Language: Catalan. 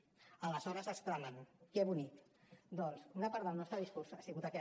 aleshores exclamen que bonic doncs una part del nostre discurs ha sigut aquest